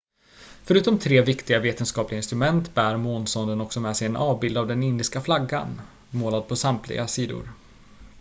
förutom tre viktiga vetenskapliga instrument bär månsonden också med sig en avbild av den indiska flaggan målad på samtliga sidor